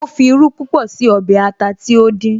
Ó fi irú púpọ̀ sí ọbẹ̀ ata tí ó dín